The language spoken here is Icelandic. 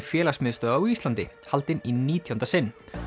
félagsmiðstöðva á Íslandi haldin í nítjánda sinn